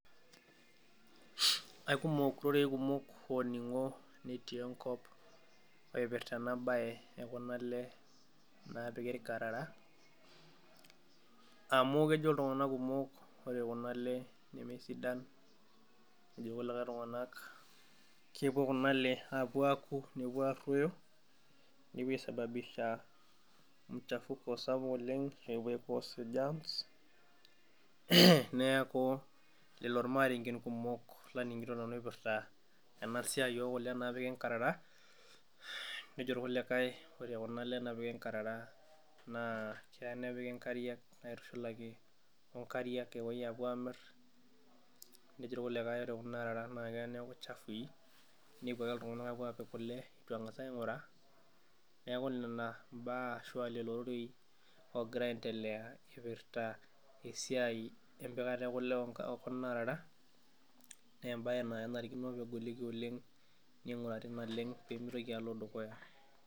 Aikumok rorei kumok ooning'o te nkop oipirta ena baye ookuna ile naapiki ilkarara, amuu kejo ltunganak kumok ore kuna ile nemesidanmejo lkulikai ltunganak kepo kuna ile aapo aaku nepo aaroyo, nepo aisababisha mchafuko sapuk oleng epo aicause germs neaku lelo ilarengen kumok laning'ito nanu eipirta ena siaai naipirta kuna ile naapik inkarara, nejo lkulikai ore kuna ile naapiki inkarara naaa keya nepiki inkariak aitushulaki oo inkariak aitushulaki aapuo aamir, nejo lkulikai ore kuna arara eya naaku chafuii, nepo ake ltungana aapuo aapik kule etu angas aing'uraa, neaku nena imbaa ashu lelo roreii ooogira aientelea eipirta esiai empikata ookule oo kuna arara, naa embaye naa nanariko egoliki oleng neing'urari naleng pemeitoki alo dukuya.